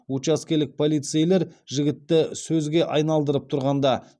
учаскелік полицейлер жігітті сөзге айналдырып тұрғанда